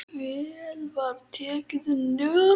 Vel var tekið undir.